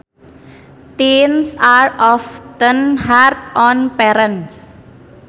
Teens are often hard on parents